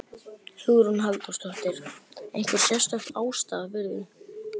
Hugrún Halldórsdóttir: Einhver sérstök ástæða fyrir því?